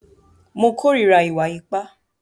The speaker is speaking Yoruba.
Mo kòrira ìwà ipá.